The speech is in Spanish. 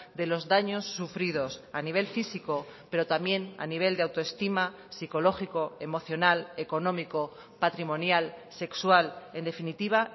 de los daños sufridos a nivel físico pero también a nivel de autoestima psicológico emocional económico patrimonial sexual en definitiva